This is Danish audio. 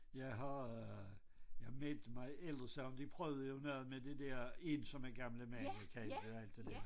Jeg har øh jeg meldte mig ellers sådan de prøvede jo noget med det der ensomme gamle mænd kaldte alt det der